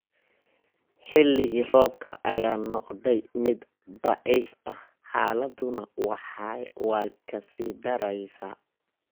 Xilligii roobka ayaa noqday mid daciif ah, xaaladduna way ka sii daraysaa.